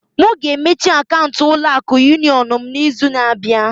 M ga-emechi akaụntụ ulo akụ Yunion m n'izu na-abịa.